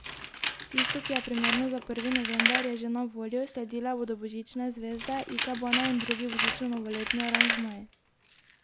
Tisto, ki je primerno za prvi november, je že na voljo, sledile bodo božične zvezde, ikebane in drugi božično novoletni aranžmaji.